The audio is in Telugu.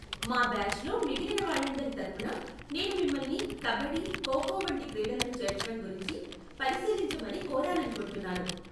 మా బాచ్లో మిగిలిన వాళ్ళందరి తరఫున, నేను మిమ్మల్ని కబడ్డీ, ఖో ఖో వంటి క్రీడలను చేర్చటం గురించి పరిశీలించమని కోరాలనుకుంటున్నాను.